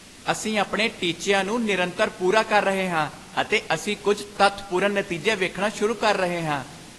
ਅਸੀਂ ਆਪਣੇ ਟੀਚਿਆਂ ਨੂੰ ਨਿਰੰਤਰ ਪੂਰਾ ਕਰ ਰਹੇ ਹਾਂ ਅਤੇ ਅਸੀਂ ਕੁੱਝ ਤੱਥਪੂਰਨ ਨਤੀਜੇ ਵੇਖਣਾ ਸ਼ੁਰੂ ਕਰ ਰਹੇ ਹਾਂ।